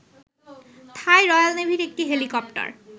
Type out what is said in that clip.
থাই royal নেভির একটি helicopter